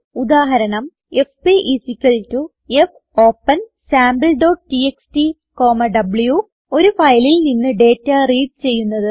ഉദാഹരണം എഫ്പി fopensampleടിഎക്സ്ടി വ്വ് ഒരു ഫയലിൽ നിന്ന് ഡേറ്റ റീഡ് ചെയ്യുന്നത്